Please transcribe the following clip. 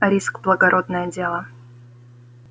риск благородное дело